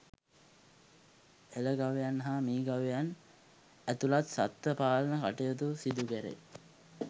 එළ ගවයන් හා මී ගවයන් ඇතුළත් සත්ත්ව පාලන කටයුතු සිදු කැරේ